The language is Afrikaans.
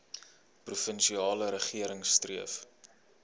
provinsiale regering streef